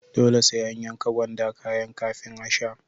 Dole sai an yanka gwanda kayan kafin a sha.